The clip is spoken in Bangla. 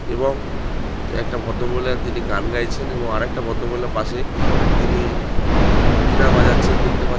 এবং একটা ভদ্রমহিলা তিনি গান গাইছেন এবং আরেকটা ভদ্রমহিলা পাশে তিনি বিনা বাজাচ্ছেন দেখতে পা --